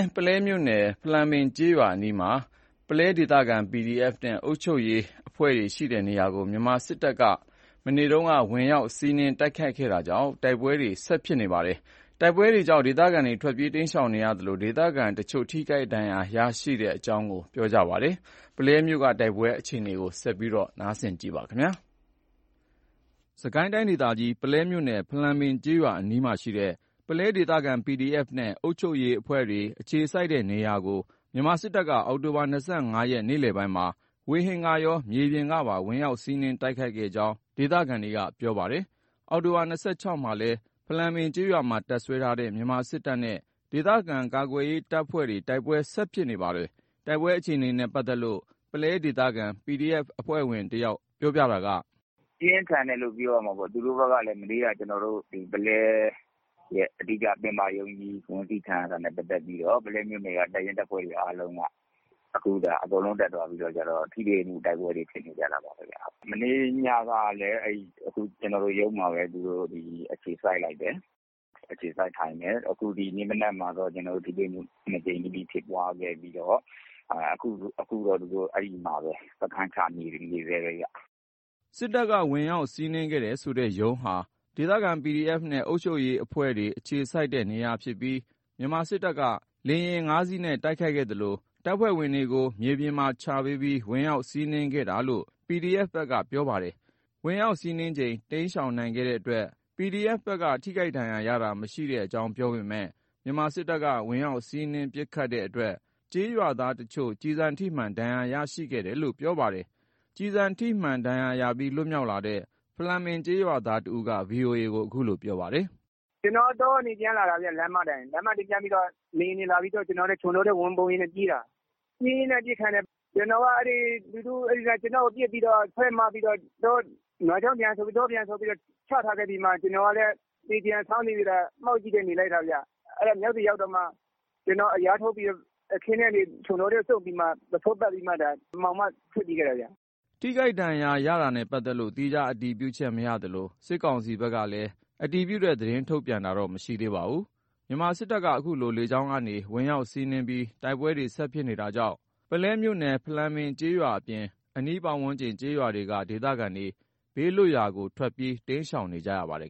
း ပုလဲမြို့နယ် ဖလံပင်ကျေးရွာအနီးမှာ ရှိတဲ့ ပုလဲ ဒေသခံ PDF နဲ့ အုပ်ချုပ်ရေးအဖွဲ့တွေ ရှိတဲ့နေရာကို မြန်မာစစ်တပ်က ဒီနေ့ ဝင်ရောက်စီးနင်း တိုက်ခိုက်ခဲ့တာကြောင့် တိုက်ပွဲတွေ ဆက်ရှိနေပါတယ်။ တိုက်ပွဲတွေကြောင့် ဒေသခံတွေ ထွက်ပြေးတိမ်းရှောင်နေရသလို ဒေသခံပြည်သူတချို့ ထိခိုက်ဒဏ်ရာ ရတဲ့အကြောင်း PDF အဖွဲ့ဝင်တဉီးနဲ့ ထိခိုက်ဒဏ်ရာရတဲ့ ဒေသခံက ပြောပါတယ်။ ပုလဲမြို့နယ်ထဲက တိုက်ပွဲအခြေအနေကို ကိုဉာဏ်ဝင်းအောင်က ပြောပြမှာပါ။ စစ်ကိုင်းတိုင်းဒေသကြီး ပုလဲမြို့နယ် ဖလံပင် ကျေးရွာအနီးမှာရှိတဲ့ ပုလဲဒေသခံ PDF နဲ့ အုပ်ချုပ်ရေးအဖွဲ့တွေ အခြေစိုက်တဲ့နေရာကို မြန်မာစစ်တပ်က အောက်တိုဘာ ၂၅ ရက် နေ့လည်ပိုင်းမှာ ဝေဟင်ကော မြေပြင်ကပါ ဝင်ရောက်စီးနင်း တိုက်ခိုက်ခဲ့တဲ့အကြောင်း ဒေသခံတွေကပြောပါတယ်။ အောက်တိုဘာ ၂၆ ရက်မှာလည်း ဖလံပင်ကျေးရွာမှာ တပ်စွဲထားတဲ့ မြန်မာစစ်တပ်နဲ့ ဒေသခံ ကာကွယ်ရေးတပ်ဖွဲ့တွေ တိုက်ပွဲ ဆက်ဖြစ်နေပါတယ်။ တိုက်ပွဲအခြေအနေနဲ့ ပတ်သက်လို့ ပုလဲဒေသခံ PDF အဖွဲ့ဝင်တယောက်က အခုလိုပြောပါတယ်။ “ပြင်းထန်တယ်လို့ပဲပြောရမှာပေါ့ မနေ့က ပုလဲရဲ့ ပင်မရုံးကြီးဝင်စီးခံရတာနဲ့ ပတ်သက်ပြီးတော့ ပုလဲမြို့နယ်က တပ်ရင်းတပ်ဖွဲ့တွေ အားလုံးက အခုတက်သွားပြီးတော့ ထိတွေ့တိုက်ပွဲတွေဖြစ်ပွားနေကြတာပေါ့။ မနေ့ညကလည်း ကျွန်တော်တို့ရုံးမှာပဲ အခြေစိုက်ထိုင်တယ်။ အခုဒီနေ့ မနက်မှာ ထိတွေ့မှု ၂ ကြိမ် ဖြစ်ပွားခဲ့ပြီးတော့ အခုတော့ သူတို့ စခန်းချနေတယ်။” စစ်တပ်က ဝင်ရောက်စီနင်း ခဲ့တယ်ဆိုတဲ့ ရုံးဟာ ဒေသခံ PDF နဲ့ အုပ်ချုပ်ရေးအဖွဲ့တွေ အခြေစိုက်တဲ့ နေရာဖြစ်ပြီး မြန်မာစစ်တပ်က လေယာဉ် ၅ စီးနဲ့ တိုက်ခိုက်ခဲ့သလို တပ်ဖွဲ့ဝင်တွေကို မြေပြင်ချပေးပြီး ဝင်ရောက်စီးနင်းခဲ့တာလို့ PDF ဘက်ကပြောပါတယ်။ ဝင်ရောက်စီးနင်းချိန် တိမ်းရှောင်နိုင်ခဲ့တဲ့အတွက် PDF ဘက်က ထိခိုက်ဒဏ်ရာရတာ မရှိတဲ့အကြောင်းပြောပေမဲ့ မြန်မာစစ်တပ်က ဝင်ရောက်စီးနင်း ပစ်ခတ်တဲ့အတွက် ကျေးရွာသားတချို့ ကျည်ဆံထိမှန် ဒဏ်ရာ ရရှိခဲ့တယ်လို့ ပြောပါတယ်။ ကျည်ဆံထိမှန် ဒဏ်ရာရပြီး လွတ်မြောက်လာတဲ့ ဖလံပင်ကျေးရွာသားတဦးက VOA ကို အခုလို ပြောပါတယ်။ “ကျွန်တော်က တောကနေပြန်လာတာ လမ်းမအတိုင်း လမ်းမအတိုင်း လေယာဉ်တွေလာပြီဆိုတော့ ချုံတောထဲ ဝင်ပုန်းရင်းကျွန်တော်ကပြေးတာ ပြေးရင်းနဲ့အပစ်ခံရတယ်။ ကျွန်တော်က သူတို့ပစ်ပြီးတော့ ဆွဲမပြီးတော့ တကျော့ပြန်ချထားခဲ့ပြီးမှ ကျွန်တော်ကလည်း သေချင်ယောင်ဆောင်ပြီး မှောက်ပြီးနေလိုက်တာ။ အဲ့တော့မှ အလျားထိုးပြီး အခင်းထဲကနေ ချုံတောထဲကိုရောက်ပြီးမှ ပုဆိုးပတ်ပြီးမှ မှောင်မှ ထွက်ပြေးခဲ့ရတာခင်ဗျ။” ထိခိုက်ဒဏ်ရာ ရတာတွေနဲ့ပတ်သက်လို့ သီးခြား အတည်ပြုချက် မရသလို စစ်ကောင်စီဘက်က အတည်ပြု သတင်းထုတ်ပြန်တာတော့ မရှိသေးပါဘူး။ မြန်မာစစ်တပ်က အခုလို လေကြောင်းကနေပါ ဝင်ရောက်စီးနင်းပြီး တိုက်ပွဲတွေ ဆက်ဖြစ်နေတာကြောင့် ပုလဲမြို့နယ် ဖလံပင်ကျေးရွာအပြင် အနီးပတ်ဝန်းကျင် ကျေးရွာတွေက ဒေသခံတွေ ဘေးလွတ်ရာကို ထွက်ပြေး တိမ်းရှောင်နေကြရပါတယ်